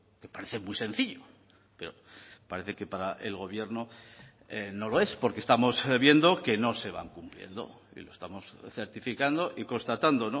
que parece muy sencillo pero parece que para el gobierno no lo es porque estamos viendo que no se van cumpliendo y lo estamos certificando y constatando